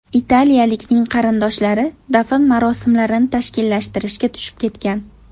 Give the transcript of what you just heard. Italiyalikning qarindoshlari dafn marosimlarini tashkillashtirishga tushib ketgan.